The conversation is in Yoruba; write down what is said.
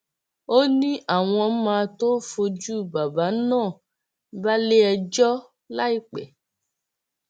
ó ní àwọn máa tóó fojú bàbá náà balẹẹjọ láìpẹ